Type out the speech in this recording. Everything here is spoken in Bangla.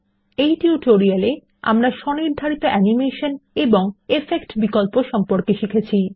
এই টিউটোরিয়াল এ আমরা স্বনির্ধারিত অ্যানিমেশন এবং ইফেক্ট বিকল্প সম্পর্কে শিখেছি